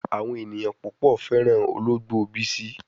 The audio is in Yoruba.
Awon eyan pupo feran ologbo Bisi